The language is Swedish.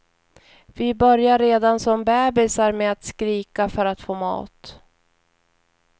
Vi börjar redan som bäbisar med att skrika för att få mat.